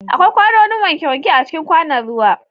Akwai kwanoni wankewanke a cikin kwanon ruwa.